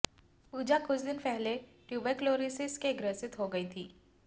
पूजा कुछ दिनों पहले ट्यूबरक्लोसिस से ग्रसित हो गई थीं